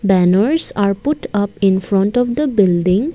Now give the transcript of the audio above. banners are put up infront of the building.